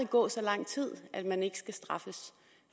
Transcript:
gå så lang tid at man ikke skal straffes